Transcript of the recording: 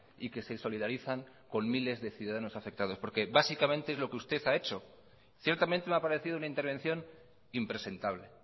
y que se solidarizan con miles de ciudadanos afectados porque básicamente es lo que usted ha hecho ciertamente me ha parecido una intervención impresentable